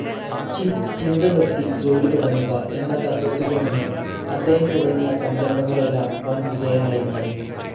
ചിന്ത നിർത്തി ജോലി തുടങ്ങുക എന്ന തത്ത്വത്തിലൂന്നി അദ്ദേഹം തുടങ്ങിയ സംരംഭങ്ങളെല്ലാം വൻ വിജയമായി മാറി.